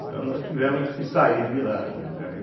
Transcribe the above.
Então nós tivemos que sair de lá, né.